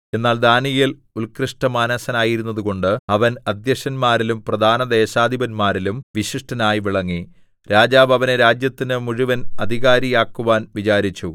എന്നാൽ ദാനീയേൽ ഉൾകൃഷ്ടമാനസനായിരുന്നതുകൊണ്ട് അവൻ അദ്ധ്യക്ഷന്മാരിലും പ്രധാനദേശാധിപന്മാരിലും വിശിഷ്ടനായി വിളങ്ങി രാജാവ് അവനെ രാജ്യത്തിനു മുഴുവൻ അധികാരിയാക്കുവാൻ വിചാരിച്ചു